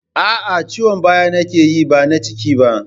Aa, Ciwon baya na ke yi ba na ciki ba